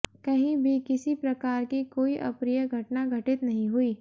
कही भी किसी प्रकार की कोई अप्रिय घटना घटित नहीं हुई